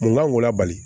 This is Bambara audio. Mun kan k'o labali